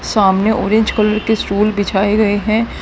सामने orange colour के stool बिछाए गए हैं।